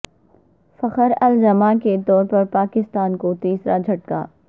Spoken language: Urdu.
فخر الزماں کے طور پر پاکستان کو تیسرا جھٹکا